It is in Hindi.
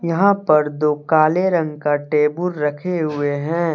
यहां पर दो काले रंग का टेबुल रखे हुए हैं।